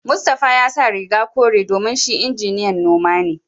Mustapha ya sa riga kore domin shi injiniyan noma ne